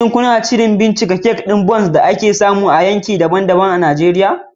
Shin kuna shirin bincika nau'ikan irin kek ɗin Bounce da ake samu a yankuna daban-daban na Najeriya?